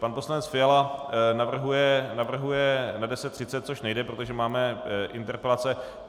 Pan poslanec Fiala navrhuje na 10.30, což nejde, protože máme interpelace.